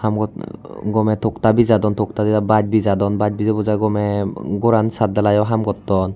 Hamot gomey tokta bijadon tokta didai bach bijadon bach bijeybujai gomey goran sathdalaiyo haam gotton.